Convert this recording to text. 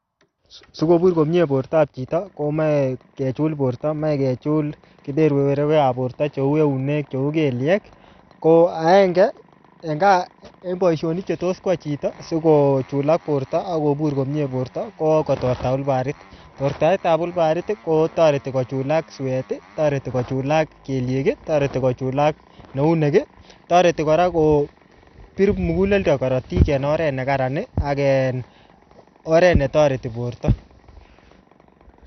Sikobur komyee bortop chito, komeche kechul borto. Meche kechul keberberwekap borto, cheu eunek, cheu kelyek. Ko agenge eng boisonik che tos kwai chito, sikochulak borto, akobur komyee borto, ko kotorta wilbaroit. Tortaet ap wilbaroit, kotoreti kochulak suet. Toreti kochulak kelyek. Toreti kochulak neunek. Toreti kora kopir muguleldo korotik en oret ne kararan, ak oret ne toreti borto